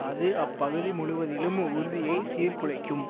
அது அப்பகுதி முழுவதிலும் உறுதியைச் சீர்குலைக்கும்